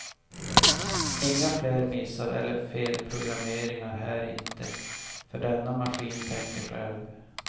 Inga fler missar eller felprogrammeringar här inte, för denna maskin tänker själv.